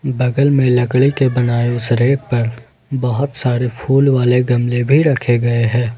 बगल में लकड़ी के बनाए उस रैक पर बहुत सारे फूल वाले गमले भी रखे गए हैं।